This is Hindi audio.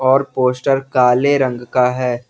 और पोस्टर काले रंग का है।